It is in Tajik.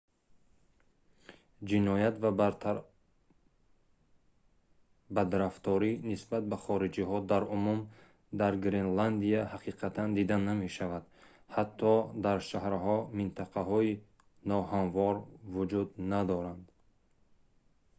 ҷиноят ва бадрафторӣ нисбат ба хориҷиҳо дар умум дар гренландия ҳақиқатан дида намешавад. ҳатто дар шаҳрҳо «минтақаҳои ноҳамвор» вуҷуд надоранд